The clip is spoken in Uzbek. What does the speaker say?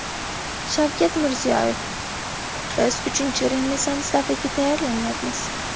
Shavkat Mirziyoyev: Biz uchinchi Renessans davriga tayyorlanyapmiz.